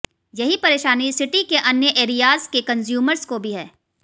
यहीं परेशानी सिटी के अन्य एरियाज के कंज्यूमर्स को भी है